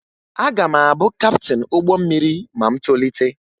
Aga m abụ kaptịn ụgbọ mmiri ma m tolite